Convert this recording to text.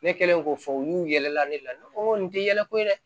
Ne kɛlen k'o fɔ olu y'u yɛlɛla ne la nin tɛ yɛlɛ ko ye dɛ